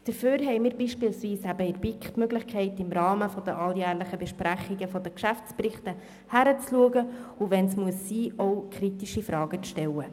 Dafür haben wir beispielsweise in der BiK die Möglichkeit, im Rahmen der alljährlichen Besprechungen der Geschäftsberichte hinzuschauen, und wenn es sein muss, auch kritische Fragen zu stellen.